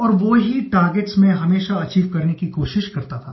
और वो ही टार्गेट्स मैं हमेशा अचीव करने की कोशिश करता था